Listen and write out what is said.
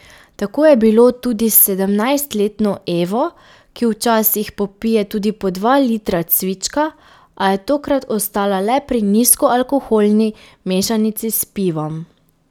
Tako je bilo tudi s sedemnajstletno Evo, ki včasih popije tudi po dva litra cvička, a je tokrat ostala le pri nizkoalkoholni mešanici s pivom.